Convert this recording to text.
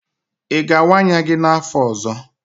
Ị ga-awaa anya gi n'afọ ọzọ?